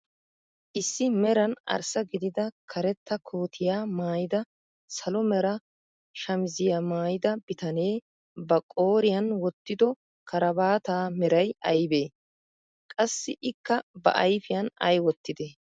Issi meran arssa gidida karetta kootiyaa maayida salo mera shamiziyaa maayida bitanee ba qooriyaan wottido karabaataa meray aybee? Qassi ikka ba ayfiyaan ay wottidee?